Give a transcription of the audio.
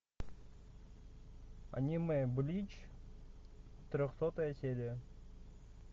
анимэ блич трехсотая серия